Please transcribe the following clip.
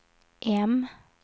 M